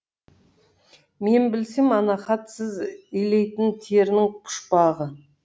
мен білсем ана хат сіз илейтін терінің пұшпағы